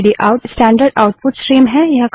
stdout standard output stream है